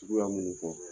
Suguya minnu fɔ